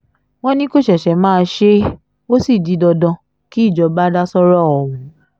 wọ́n ní kó ṣẹ̀ṣẹ̀ máa ṣe é ó sì di dandan kí ìjọba dá sọ́rọ̀ ọ̀hún